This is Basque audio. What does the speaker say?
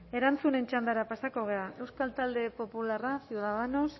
bueno erantzunen txandara pasako gara euskal talde popularra ciudadanos